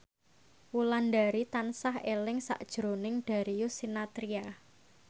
Wulandari tansah eling sakjroning Darius Sinathrya